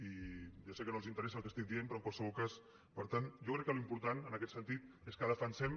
i ja sé que no els interessa el que estic dient però en qualsevol cas per tant jo crec que l’important en aquest sentit és que defensem